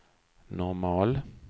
normal